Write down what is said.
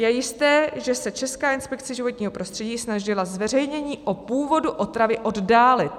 Je jisté, že se Česká inspekce životního prostředí snažila zveřejnění o původu otravy oddálit.